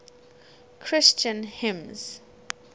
christian hymns